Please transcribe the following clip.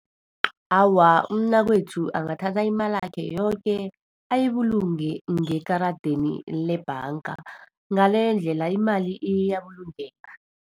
Awa, umnakwethu angathanda imalakhe yoke, ayibulunge ngekaradeni lebhanga. Ngaleyo ndlela, imali iyabulungeka.